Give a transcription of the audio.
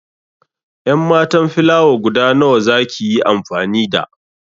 En matan filawa guda nawa za ki yi amfani da?